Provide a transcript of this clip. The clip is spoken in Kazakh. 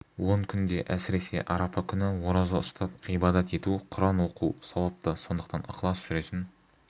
он күнде әсіресе арапа күні ораза ұстап ғибадат ету құран оқу сауапты сондықтан ықылас сүресін